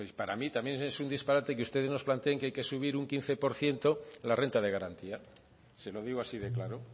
para mí también es un disparate que ustedes nos planteen que hay que subir un quince por ciento la renta de garantía se lo digo así de claro